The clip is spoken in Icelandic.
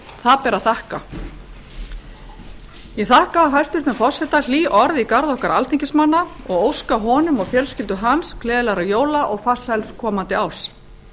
það ber að þakka ég þakka forseta hlý orð í garð okkar alþingismanna og óska honum og fjölskyldu hans gleðilegra jóla og farsæls komandi árs